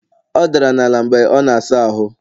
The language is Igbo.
Ọ dara n'ala mgbe ọ na-asa ahụ